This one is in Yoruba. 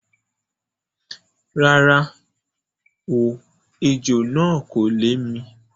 Rárá o, ejò náà kò lè mi.